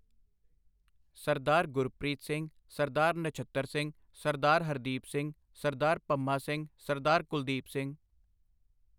Sardar Gurpreet Singh, Sardar Nachhattar Singh, Sardar Hardeep Singh, Sardar Pamma Singh, Sardar Kuldeep Singh